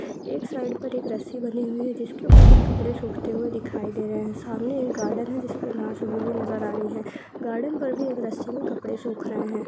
एक साइड पर एक रस्सी बंधी हुई है जिसके ऊपर कुछ कपड़े सूखते दिखाई दे रहे है सामने एक गार्डन जिसमे घास उगी हुई नजर आ रही है गार्डन पर भी एक रस्सी मे कपड़े सुख रहे है।